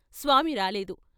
స్వామి రాలేదు.